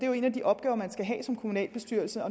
jo en af de opgaver man skal have som kommunalbestyrelse